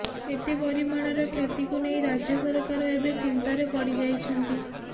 ଏତେ ପରିମାଣର କ୍ଷତିକୁ ନେଇ ରାଜ୍ୟ ସରକାର ଏବେ ଚିନ୍ତାରେ ପଡ଼ିଯାଇଛନ୍ତି